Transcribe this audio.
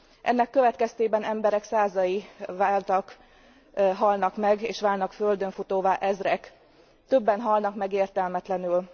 Ennek következtében emberek százai halnak meg és válnak földönfutóvá ezrek, többen halnak meg értelmetlenül.